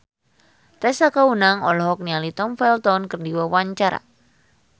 Tessa Kaunang olohok ningali Tom Felton keur diwawancara